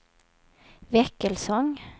Väckelsång